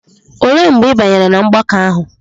Olee mgbe ị banyere n'ọgbakọ ahụ?